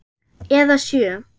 Eða sjö.